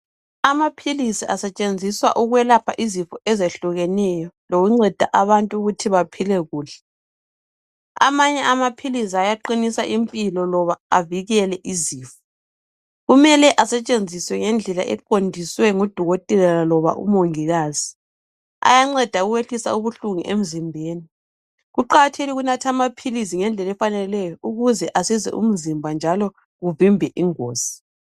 Amaphilisi asetshenziswa ukwelapha izifo ezehlukeneyo lokunceda abantu ukuthi baphile kuhle. Amanye amaphilisi ayaqinisa impilo loba avikele izifo, kumele asetshenziswe ngendlela eqondiswe ngudokotela loba umongikazi. Ayanceda ukwehlisa ubuhlungu emzimbeni, kuqakathekile ukunatha amaphilisi ngendlela efaneleyo ukuze asize umzimba njalo kuvimbe ingozi.